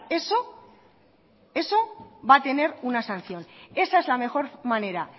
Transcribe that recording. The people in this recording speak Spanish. eso eso va a tener una sanción esa es la mejor manera